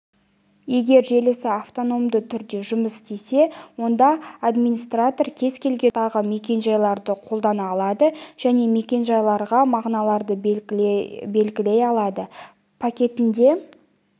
егер желісі автономды түрде жұмыс істесе онда администратор кез келген ұзындықтағы мекен-жайларды қолдана алады және мекен-жайларға мағыналарды белгілей алады пакетінде